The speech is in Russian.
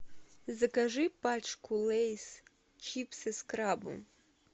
закажи пачку лэйс чипсы с крабом